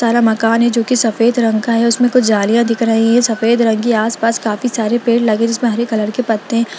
एक तल्ला मकान है जो की सफेद रंग का है उसमे कुछ जालियां दिख रही है आस-पास काफी सारे पेड़ लगे हुए है जिसमे हरे कलर के पत्ते है।